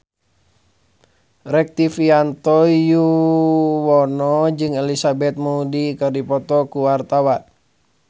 Rektivianto Yoewono jeung Elizabeth Moody keur dipoto ku wartawan